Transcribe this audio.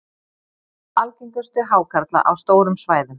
hann var meðal algengustu hákarla á stórum svæðum